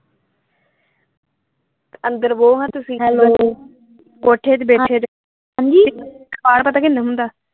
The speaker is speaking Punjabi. ਅੰਦਰ ਬਹੋ ਖਾਂ ਤੁਸੀਂ ਹੈਲੋ ਕੋਠੇ ਤੇ ਬੈਠੇ ਜੇ ਹਾਂਜੀ ਪਤਾ ਕਿੰਨਾ ਹੁੰਦਾ?